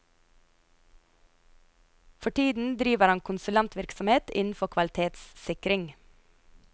For tiden driver han konsulentvirksomhet innenfor kvalitetssikring.